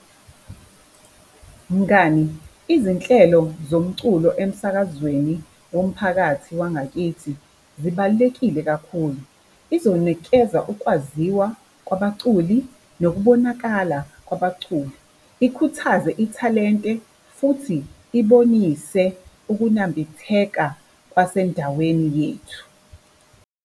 Mngani, izinhlelo zomculo emsakazweni womphakathi wangakithi zibalulekile kakhulu. Izonikeza ukwaziwa kwabaculi nokubonakala kwabaculi, ikhuthaze ithalente futhi ibonise ukunambitheka kwasendaweni yethu.